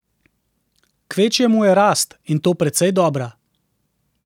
Kvečjemu je rast, in to precej dobra.